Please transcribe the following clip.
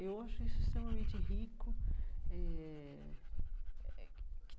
Eu acho isso extremamente rico eh.